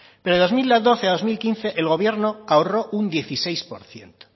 pero de dos mil doce a dos mil quince el gobierno ahorró un dieciséis por ciento